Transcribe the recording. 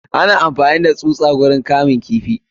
Ana amfani da tsusa ciikin kamun kifi.